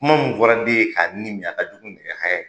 Kuma mun fɔra den ye k'a ni min a ka jugu nɛgɛ haya ye.